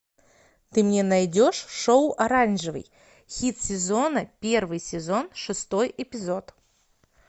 ты мне найдешь шоу оранжевый хит сезона первый сезон шестой эпизод